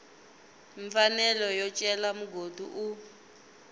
mfanelo yo cela mugodi u